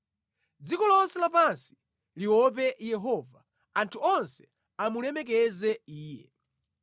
Dziko lonse lapansi liope Yehova; anthu onse amulemekeze Iye.